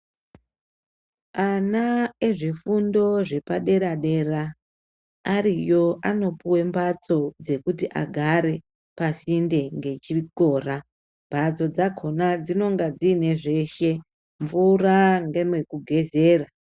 Ana ezvefundo zvepadera -dera ariyo anopuwe mbatso dzekuti agare pasinde ngechikora. Mbatso dzakhona dzinonga dziine zveshe mvura ngemekugezera.